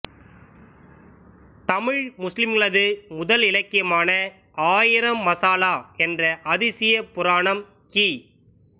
தமிழ் முஸ்லிம்களது முதல் இலக்கியமான ஆயிரம் மசாலா என்ற அதிசயப் புராணம் கி